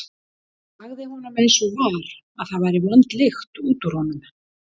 Sagði honum eins og var að það væri vond lykt út úr honum.